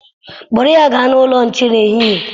Kpụrụ ya gaa n'ụlọ nche n'ehihie.